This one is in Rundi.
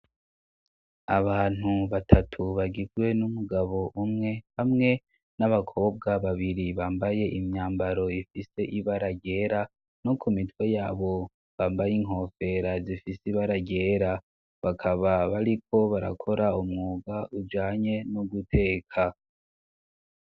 Abantu batatu bagirwe n'umugabo umwe hamwe n'abakobwa babiri bambaye imyambaro ifise ibaragera no ku mitwe yabo bambaye inkofera zifise ibaragera bakaba bariko barakora umwuga ujanye no guteka.